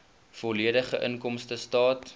volledige inkomstestaat